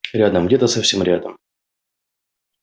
рядом где-то совсем рядом